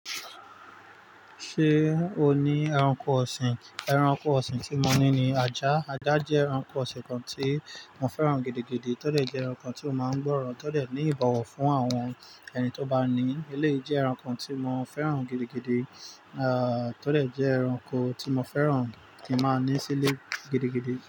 Ṣé o ní ẹranko ọ̀sìn? Ẹranko ọ̀sìn tí mo ní ni ajá. Ajá jẹ́ ẹranko ọ̀sìn kan tí mo fẹ́ràn gidi, to dẹ̀ jẹ́ ẹranko tí ó ma ń gbọ́ràn, to dẹ̀ ní ìbọ̀wọ̀ fún àwọn ẹni tó bá ní. Eléyìí jẹ́ ẹranko tí mo fẹ́ràn gidi gidi, to dẹ̀ jẹ́ ẹranko tí mo fẹ́ràn tí máa ní sílé gidi gidi.